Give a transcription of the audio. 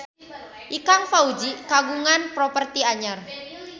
Ikang Fawzi kagungan properti anyar